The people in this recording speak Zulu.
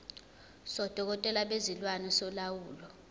sodokotela bezilwane solawulo